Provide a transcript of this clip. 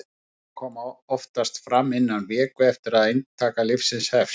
einkenni koma oftast fram innan viku eftir að inntaka lyfsins hefst